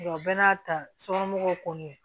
O bɛɛ n'a ta sokɔnɔmɔgɔw kɔni